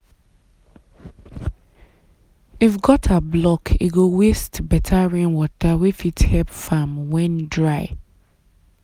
if gutter block e go waste better rainwater wey fit help farm when dry